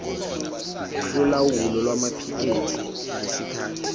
yolawulo lwamaphikethi ngesikhathi